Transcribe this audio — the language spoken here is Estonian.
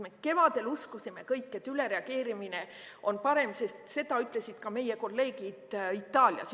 Me kevadel uskusime kõik, et ülereageerimine on parem, sest seda ütlesid ka meie kolleegid Itaaliast.